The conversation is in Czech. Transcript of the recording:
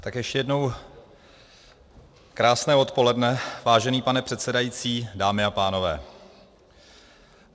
Tak ještě jednou krásné odpoledne, vážený pane předsedající, dámy a pánové.